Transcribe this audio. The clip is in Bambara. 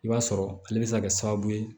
I b'a sɔrɔ ale bɛ se ka kɛ sababu ye